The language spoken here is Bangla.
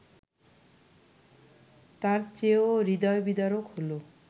তার চেয়েও হৃদয়বিদারক হলো